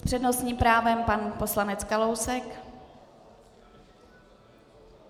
S přednostním právem pan poslanec Kalousek.